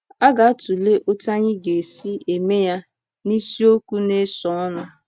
A ga-atụle otú anyị ga-esi eme ya n’isiokwu na-esonụ.